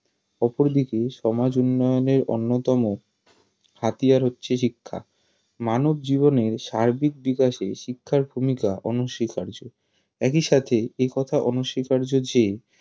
অপরদিকে সমাজ উন্নয়নের অন্যতম হাতিয়ার হচ্ছে শিক্ষা মানবজীবনের সার্বিক বিকাশে শিক্ষার ভুমিকা অনস্বীকার্য একই সাথে একথা অনস্বীকার্য যে